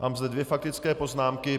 Mám zde dvě faktické poznámky.